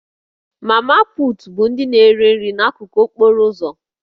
Mama put' bụ ndị na-ere nri n'akụkụ okporo ụzọ